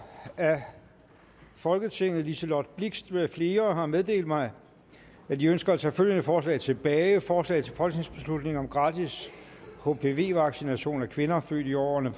af folketinget liselott blixt med flere har meddelt mig at de ønsker at tage følgende forslag tilbage forslag til folketingsbeslutning om gratis hpv vaccination til kvinder født i årene